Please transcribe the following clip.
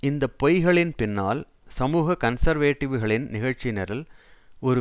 இந்த பொய்களின் பின்னால் சமூக கன்சர்வேட்டிவ்களின் நிகழ்ச்சிநிரல் ஒரு